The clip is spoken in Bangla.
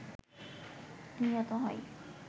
নিহত হয়